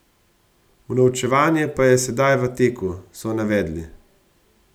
Unovčevanje pa je sedaj v teku, so navedli.